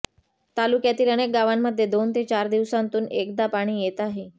तालुक्यातील अनेक गावांमध्ये दोन ते चार दिवसांतून एकदा पाणी येत आहे